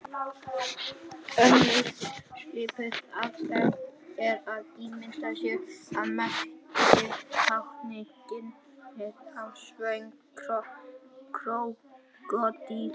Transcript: Önnur svipuð aðferð er að ímynda sér að merkið tákni ginið á svöngum krókódíl.